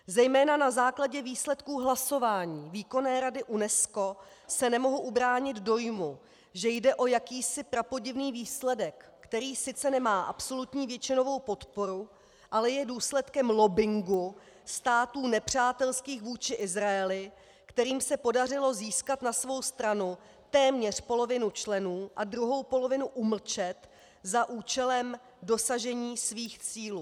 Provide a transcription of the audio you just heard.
Zejména na základě výsledků hlasování Výkonné rady UNESCO se nemohu ubránit dojmu, že jde o jakýsi prapodivný výsledek, který sice nemá absolutní většinovou podporu, ale je důsledkem lobbingu států nepřátelských vůči Izraeli, kterým se podařilo získat na svou stranu téměř polovinu členů a druhou polovinu umlčet za účelem dosažení svých cílů.